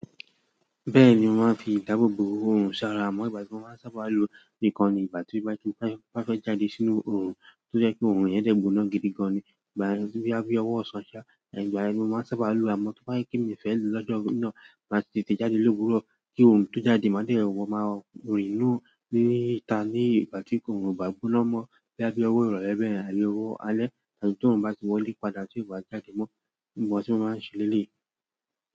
Bẹ́ẹ̀ni, mó máa ń fi ìdáàbò bo orun ṣara amọ́ ìgbà tí mo máa n sábà lo nìkan ní ìgbà tí mo bá fẹ́ jáde sínú orun tó jẹ́ pé orun yẹn dẹ̀ gbóná gidigan ni. Ìgbà yẹn boya bi ọwọ́ ọ̀sán ṣá, ìgbà yẹn ni mo máa n sábà lo àmọ́ tó bá jẹ pe mi o fẹ́ lò lọ́jọ́ náà máa tètè jáde lówùrọ kí orun tó jáde má dẹ̀ wọ́ máa rìnú ní ìta ní ìgbà tí orùn o bá gbóná mọ́ boya bi ọwọ́ ìrọ̀lẹ́ bẹyẹn tí owó alẹ́ lẹ́yìn tí orun bá ti wọlé padà tí ó ba jáde mọ́ bi mo se máa ń ṣe leléyìí.